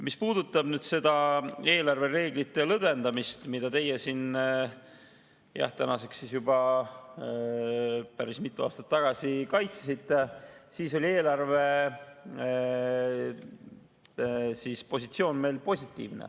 Mis puudutab eelarvereeglite lõdvendamist, mida teie tänaseks juba päris mitu aastat tagasi kaitsesite, siis oli sel ajal eelarvepositsioon meil positiivne.